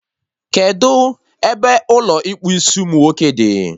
Kedụ ebe Ụlọ ịkpụ isiumunwoke dị?